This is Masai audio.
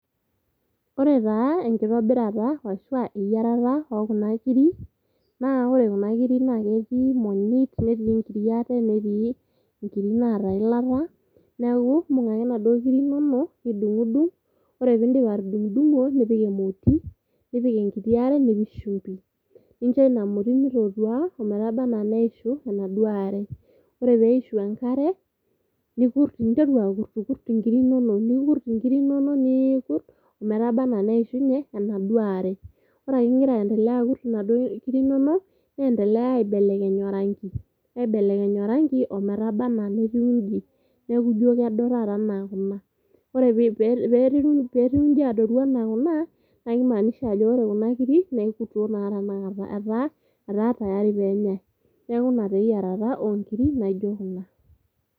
Ore taa enkitobirata ashua eyierata okuna kiri naa ore kuna kiri ketii imonyit, netii nkiri ate ,netii nkiri naata eilata. Niaku imbung ake inaduoo kiri inonok nidungdung , ore pindip atudungdungo ,nipik emoti, nipik enkiti are ,nipik shumbi. Ninchoina moti mitootua ometaba anaa neishu enaduoo are . Ore peishu enkare , ninteru akurtkurt inkiri inonok, nikurt inkiri inonok niiikurt ometaba anaa neishunye enaduoo are. Ore ake ingira aendelea akurt inkir inonok , neendelea aiblelekeny orangi, aibelekeny orangi ometaba anaa netiu inji neeku ijo kedo taaata anaa kuna . Ore petiu inji adoru anaa kuna naa kimaanisha ajo ore kuna kiri naa ekuto tanakata etaa etaa tayari penyae ,niaku ina eyiereta naijo kuna.